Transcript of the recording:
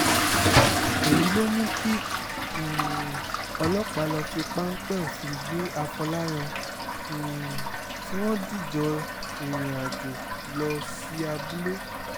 èyí ló mú kí um ọlọ́pàá lọ́ọ́ fi páńpẹ́ òfin gbé afọláyàn um tí wọ́n dìjọ́ rìnrìn-àjò lọ sí abúlé